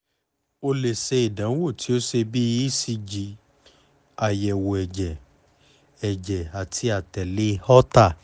o le ṣe idanwo ti o ṣe bi ecg ayẹwo ẹjẹ ẹjẹ ati atẹle holter